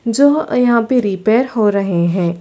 जो यहाँ पे रिपेर हो रहै है।